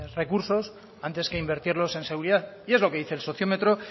recursos antes que invertirlos en seguridad y es lo que dice el sociómetro